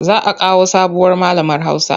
Za a kawo sabuwar malamar Hausa.